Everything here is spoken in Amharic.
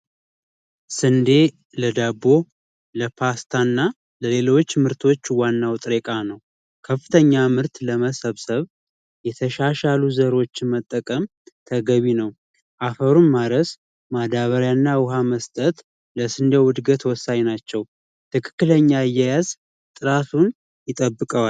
ስንዴ ለዳቦ ለፓስታና ለሌሎች ምርቶች ዋናው ጥሬ እቃ ነው ከፍተኛ ምርት ለመሰብሰብ የተሻሻሉ ዘሮችን መጠቀም ተገቢ ነው አፈሩን ማረስ ውሃና ማዳበሪያ መስጠት ለእድገቱ ወሳኝ ናቸው ትክክለኛ አያያዝ ጥራቱን ይጠብቀዋል።